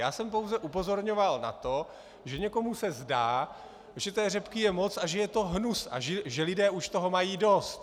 Já jsem pouze upozorňoval na to, že někomu se zdá, že té řepky je moc a že je to hnus a že lidé už toho mají dost.